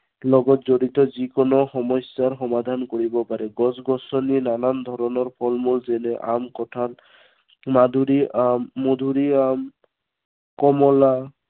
লগত জড়িত যি কোনো সমস্য়াৰ সমাধান কৰিব পাৰে। গছ গছনিত নানান ধৰণৰ ফলমূল যেনে, আম কঁঠাল মাধুৰিআম, মধুৰিআম কমলা